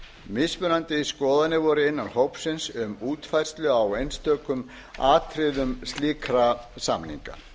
mismunandi skoðanir voru innan hópsins um útfærslu á einstökum atriðum slíkra samninga